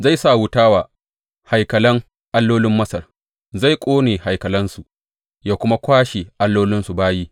Zai sa wuta wa haikalan allolin Masar; zai ƙone haikalansu yă kuma kwashe allolinsu bayi.